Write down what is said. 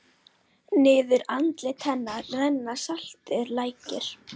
Niður andlit hennar renna saltir lækir.